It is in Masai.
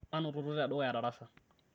manototo tedukuya darasa